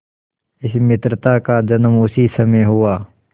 इस मित्रता का जन्म उसी समय हुआ